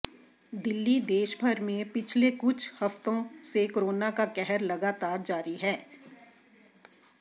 दिल्लीः देशभर में पिछले कुछ हफ्तों से कोरोना का कहर लगातार जारी है